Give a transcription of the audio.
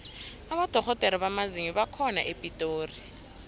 abodorhodere bamazinyo bakhona epitori